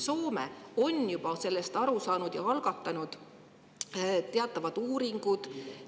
Soome on sellest juba aru saanud ja algatanud teatavad uuringud.